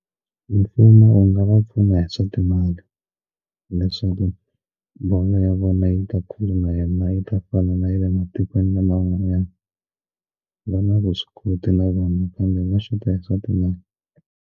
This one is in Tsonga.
Mfumo wu nga va pfuna hi swa timali leswaku bolo ya vona yi ta khuluma na yena yi ta fana na ya le matikweni laman'wanyana va na vuswikoti na vona kambe va shota hi swa timali.